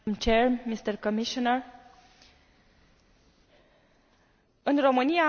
În România avem o vorbă spunem că un om bine crescut are cei șapte ani de acasă.